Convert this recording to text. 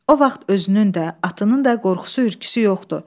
O vaxt özünün də, atının da qorxusu, hürküsü yox idi.